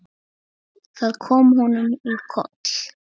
Það kom honum í koll.